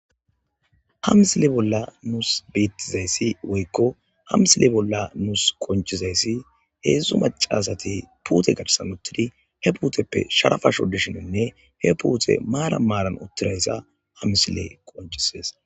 Ha misile bolla nus beettizaysi woykko ha misile bolla qinccizayasi heezdzdu maccasati uttidi puute garsappe he puute sharapa shoddisheninne he puutey maaran maaran uttidaysa ha misiley qoncisees.